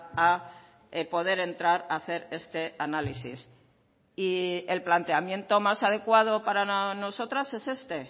a poder entrar a hacer este análisis y el planteamiento más adecuado para nosotras es este